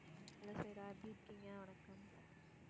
hello Saira எப்படி இருக்கீங்க? வணக்கம்.